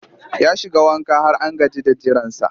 Ya shiga wanka har an gaji da jiransa